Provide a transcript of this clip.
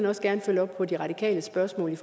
også gerne følge op på de radikales spørgsmål